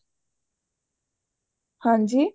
ਹਾਂਜੀ